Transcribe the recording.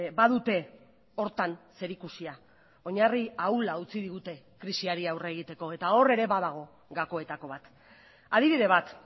badute horretan zerikusia oinarri ahula utzi digute krisiari aurre egiteko eta hor ere badago gakoetako bat adibide bat